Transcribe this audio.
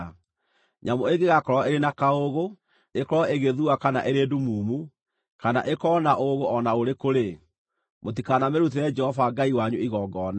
Nyamũ ĩngĩgakorwo ĩrĩ na kaũũgũ, ĩkorwo ĩgĩthua kana ĩrĩ ndumumu, kana ĩkorwo na ũũgũ o na ũrĩkũ-rĩ, mũtikanamĩrutĩre Jehova Ngai wanyu igongona.